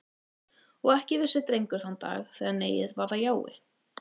Og ekki vissi Drengur þann dag, þegar neiið varð að jái.